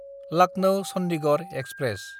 Lucknow Chandigarh express